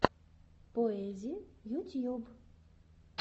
поэзи ютьюб